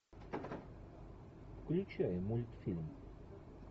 включай мультфильм